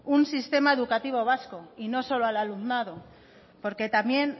un sistema educativo vasco y no solamente al alumnado porque también